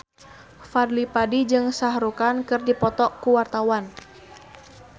Fadly Padi jeung Shah Rukh Khan keur dipoto ku wartawan